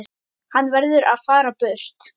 Hann verður að fara burt.